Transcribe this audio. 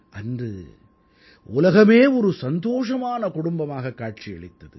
அன்று உலகமே ஒரு சந்தோஷமான குடும்பமாகக் காட்சியளித்தது